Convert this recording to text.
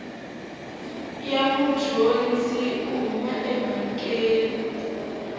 ya mudyondzi u huma emhakeni